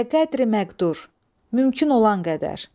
Bəqədri məqdur, mümkün olan qədər.